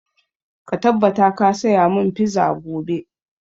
Ka tabbata ka saya mun fiza gobe!